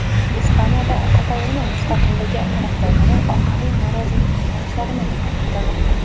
Ispaniyada Kataloniya mustaqilligi tarafdorlari ommaviy norozilik namoyishlarini davom ettirmoqda.